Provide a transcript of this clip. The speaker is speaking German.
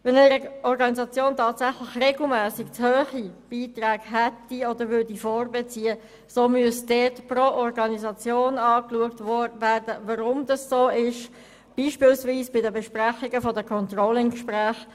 Wenn eine Organisation tatsächlich regelmässig zu hohe Beiträge hätte oder vorbeziehen würde, müsste pro Organisation geprüft werden, weshalb dem so ist, zum Beispiel anlässlich der Controlling-Gespräche.